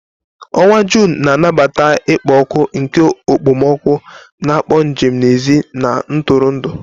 Onwa June na-anabata ikpo ọkụ nke okpomọkụ, na-akpọ njem n'èzí na ntụrụndụ.